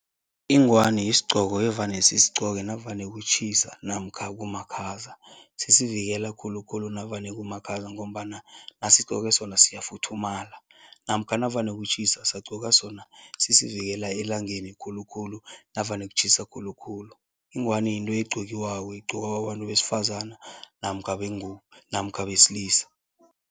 Ingwani yisigqoko evane sisigcoke navane kutjhisa namkha kumakhaza. Sisivikela khulukhulu navane kumakhaza ngombana nasigqoke sona siyafuthumala namkha navane kutjhisa, sagqoka sona sisivikela elangeni khulukhulu navane kutjhisa khulukhulu. Ingwani yinto egqokiwako, egqokwa babantu besifazana namkha bengubo namkha besilisa.